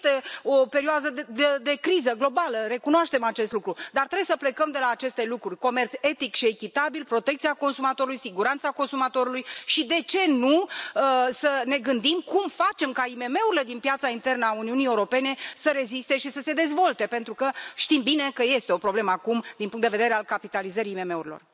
Este o perioadă de criză globală, recunoaștem acest lucru, dar trebuie să plecăm de la aceste lucruri comerț etic și echitabil, protecția consumatorului, siguranța consumatorului și, de ce nu, să ne gândim cum facem ca IMM urile din piața internă a Uniunii Europene să reziste și să se dezvolte pentru că știm bine că este o problemă acum din punct de vedere al capitalizării IMM urilor.